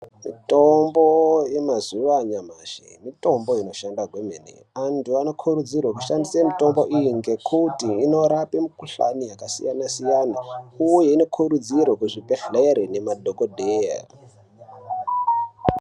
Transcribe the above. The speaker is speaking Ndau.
Mitombo yemazuwa anyamashi mitombo inoshanda kwemene antu anokurudzirwe kushandise mitombo iyi ngekuti inorape mikuhlani yakasiyana siyana uye inokurudzirwe kuzvibhedhlere nemadhokodheya.